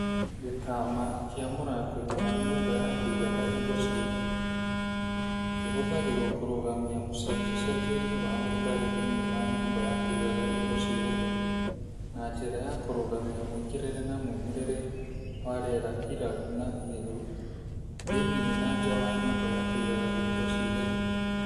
Gĩtama kĩa mũrango-inĩ wa nyũmba ya kũigaga indo ciĩ hehu: Kĩhũthagĩrwo kũrũgamia mũcenjacenjerie wa ũrugarĩ thĩinĩ wa nyũmba ya kũigaga indo ciĩ hehu na njĩra ya kũrũgamia mũingĩrĩre na mumĩrĩre wa rĩera iraru na ihehu thĩinĩ na nja wa nyũmba ya kũigaga indo ciĩ hehu.